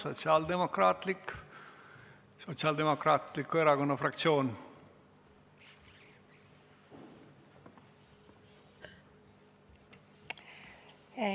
Katri Raik, palun, Sotsiaaldemokraatliku Erakonna fraktsioon!